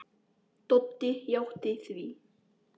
Doddi játti því.